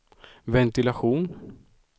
ventilation